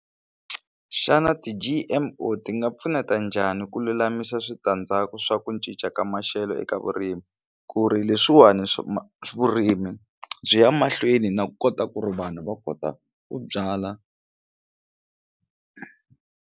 Xana ti G_M_O ti nga pfuneta njhani ku lulamisa switandzhaku swa ku cinca ka maxelo eka vurimi ku ri leswani Vurimi byi ya mahlweni na kota ku vanhu va kota ku byala.